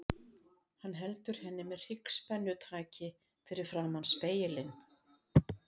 Hann heldur henni með hryggspennutaki fyrir framan spegilinn.